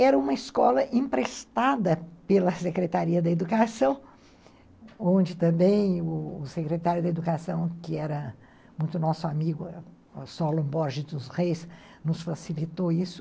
Era uma escola emprestada pela Secretaria da Educação, onde também o secretário da Educação, que era muito nosso amigo, o Solon Borges dos Reis, nos facilitou isso.